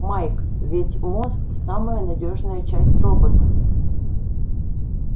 майк ведь мозг самая надёжная часть робота